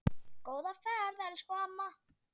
Góða ferð elsku amma.